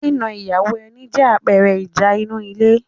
nína ìyàwó ẹni jẹ́ àpẹẹrẹ ìjà inú ilé